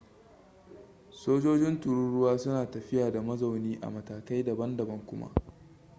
sojojin tururuwa suna tafiya da mazauni a matakai daban-daban kuma